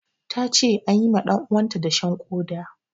Ta ce an yi ma ɗanuwanta dashen ƙoda.